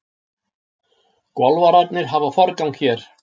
Golfararnir hafa forgang hér.